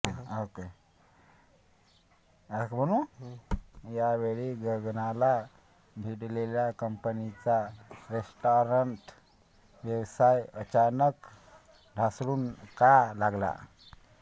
त्यावेळी गगनाला भिडलेला कंपनीचा रेस्टाॅरंट व्यवसाय अचानक ढासळू का लागला